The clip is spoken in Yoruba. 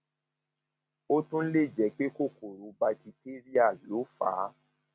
ó tún lè jẹ pé kòkòrò bacteria ló fà á